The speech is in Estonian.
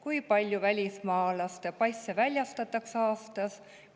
Kui palju välismaalase passe väljastatakse aastas?